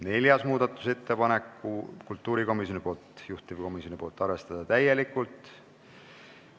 Neljas muudatusettepanek on kultuurikomisjonilt, juhtivkomisjon: arvestada täielikult.